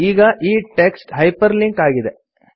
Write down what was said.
ಈಗ ಈ text hyperlink ಆಗಿದೆ